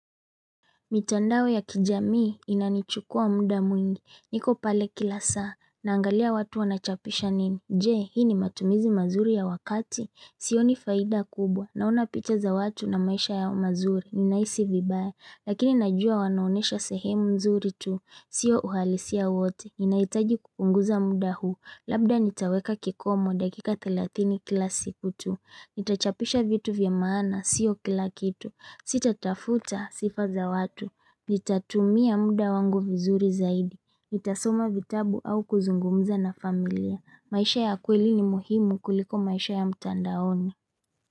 Mitandao ya kijamii inanichukua muda mwingi. Niko pale kila saa. Naangalia watu wanachapisha nini. Je, hii ni matumizi mazuri ya wakati. Sioni faida kubwa. Naona picha za watu na maisha yao mazuri. Ninahisi vibaya. Lakini najua wanaonesha sehemu nzuri tu. Sio uhalisia wote. Inaitaji kupunguza muda huu. Labda nitaweka kikomo dakika thelathini kila siku tu. Nita chapisha vitu vya maana siyo kila kitu Sitatafuta sifa za watu Nitatumia muda wangu vizuri zaidi Nitasoma vitabu au kuzungumza na familia maisha ya kweli ni muhimu kuliko maisha ya mtandaoni.